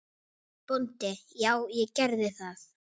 BÓNDI: Já, gerið það.